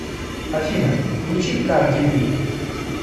афина включи карди би